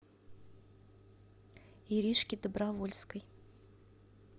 иришке добровольской